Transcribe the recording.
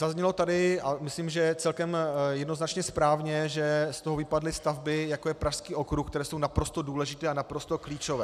Zaznělo tady, a myslím, že celkem jednoznačně správně, že z toho vypadly stavby, jako je Pražský okruh, které jsou naprosto důležité a naprosto klíčové.